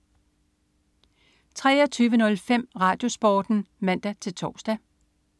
23.05 RadioSporten (man-tors)